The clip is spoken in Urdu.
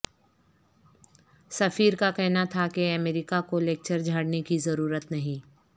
سفیر کا کہنا تھا کہ امریکہ کو لیکچر جھاڑنے کی ضرورت نہیں